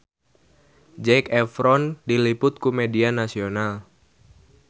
Zac Efron diliput ku media nasional